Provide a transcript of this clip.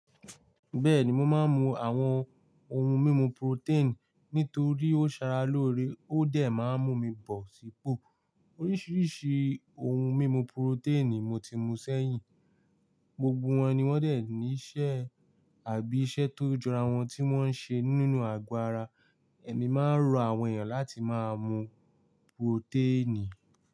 Bẹ́ẹ̀ni mo máa ń mu àwọn ohun mímu protein nítorí ó ṣara lóore, ó dẹ̀ máa ń mú mi bọ̀ sípò. Oríṣiríṣi ohun mímu protein mo ti mu sẹ́yìn, gbogbo wọn ni wọ́n dẹ̀ ní iṣẹ́ àbí iṣẹ́ tó jọra wọn tí wọ́n ń ṣe nínú àgọ ara. Ẹ̀mí máa ń rọ àwọn èyàn láti máa mu protein.